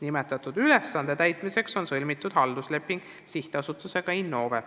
Selle ülesande täitmiseks on sõlmitud haldusleping SA-ga Innove.